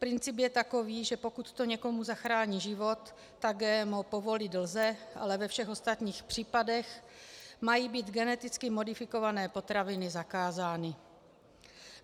Princip je takový, že pokud to někomu zachrání život, tak GMO povolit lze, ale ve všech ostatních případech mají být geneticky modifikované potraviny zakázány.